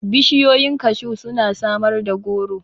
Bishiyoyin kashu suna samar da goro.